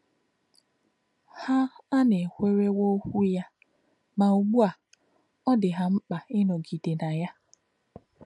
Há̄ ànakwèrè̄wọ̀ ọ̀kwú̄ yá̄, mà̄ ùgbù̄ ā̄, ọ́ dì̄ hà̄ mkpá̄ ịnọ̄gị̀dè̄ nà yá̄.